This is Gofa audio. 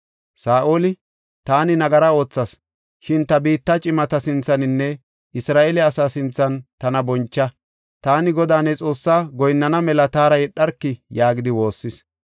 Saa7oli, “Taani nagara oothas; shin ta biitta cimata sinthaninne Isra7eele asaa sinthan tana boncha. Taani Godaa, ne Xoossaa goyinnana mela taara yedharki” yaagidi woossis.